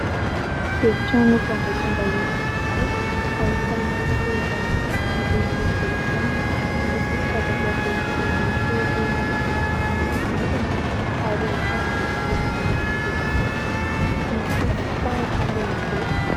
Efitrano fandraisam-bahiny iray ahitana seza miloko volontany, misy latabatra boribory telo mifanaraka mifanaingina ary ahitana jiro maro miloko fotsy, misy fitaratra lehibe.